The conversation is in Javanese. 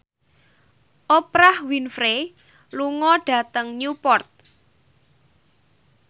Oprah Winfrey lunga dhateng Newport